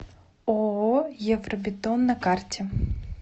ооо евробетон на карте